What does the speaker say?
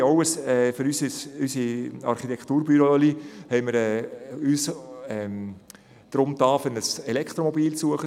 Wir haben uns für unser kleines Architekturbüro nach einem Elektromobil umgesehen.